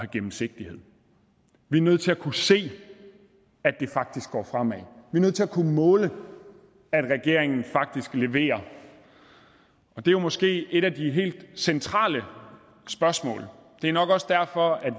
gennemsigtighed vi er nødt til at kunne se at det faktisk går fremad vi er nødt til at kunne måle at regeringen faktisk leverer og det er måske et af de helt centrale spørgsmål det er nok også derfor